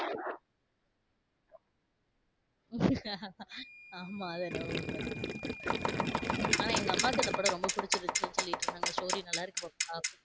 ஆமா அது என்னமோ உண்மதான். ஆனா எங்க அம்மாக்கு அந்த படம் ரொம்ப பிடிச்சுருந்துச்சுனு சொல்லிட்டு இருந்தாங்க.